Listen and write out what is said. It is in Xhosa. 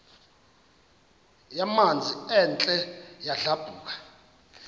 yamanzi ethe yadlabhuka